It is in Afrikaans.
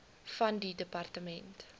van die departement